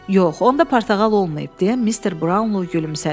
Yox, onda portağal olmayıb, - deyə Mister Brownlo gülümsədi.